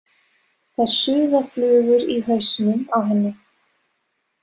Það suða flugur í hausnum á henni.